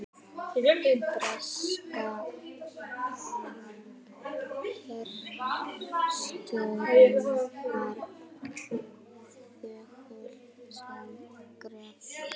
Breska herstjórnin var þögul sem gröfin.